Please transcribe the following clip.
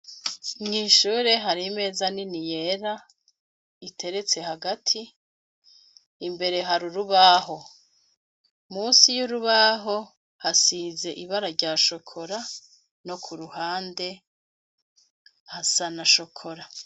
Nw'ishure hari meza nini yera iteretse hagati imbere hari urubaho musi y'urubaho hasize ibara rya shokora no ku ruhande hasanashokora.